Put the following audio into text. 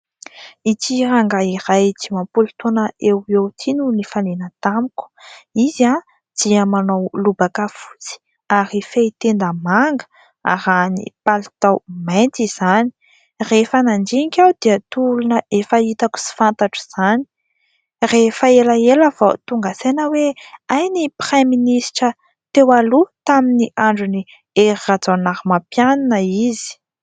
Ity rangahy iray dimampolo taona eo eo ity no nifanena tamiko. Izy dia manao lobaka fotsy ary fehitenda manga, arahiny palitao mainty izany. Rehefa nandinika aho dia toa olona efa hitako sy fantatro izany. Rehefa elaela vao tonga saina aho hoe hay ny Piraiministra teo aloha tamin'ny andron' i Hery Rajaonarimampianina izy.